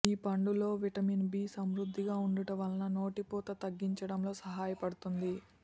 ఈ పండులో vitamin B సమృద్ధిగా ఉండుట వలన నోటిపూత తగ్గించటంలో సహాయపడుతుంది